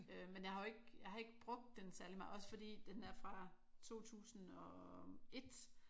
Men jeg har jo ikke jeg har ikke brugt den særlig meget også fordi den er fra 2001